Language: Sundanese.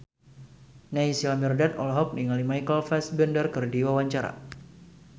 Naysila Mirdad olohok ningali Michael Fassbender keur diwawancara